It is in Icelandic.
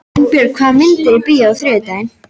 Finnbjörg, hvaða myndir eru í bíó á þriðjudaginn?